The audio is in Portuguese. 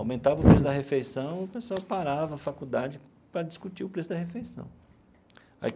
Aumentava o preço da refeição e o pessoal parava a faculdade para discutir o preço da refeição.